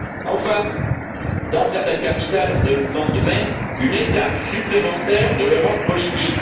Enfin, dans certaines capitales, on demande même une étape supplémentaire de l'Europe politique.